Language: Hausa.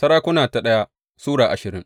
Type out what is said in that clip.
daya Sarakuna Sura ashirin